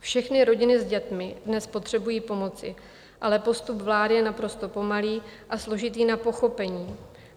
Všechny rodiny s dětmi dnes potřebují pomoci, ale postup vlády je naprosto pomalý a složitý na pochopení.